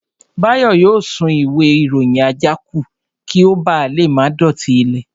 Báyọ̀ yóò sun ìwé ìròyìn àjákù kí ó ba lè má dọ̀tí ilẹ̀